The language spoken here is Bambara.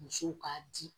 Musow k'a di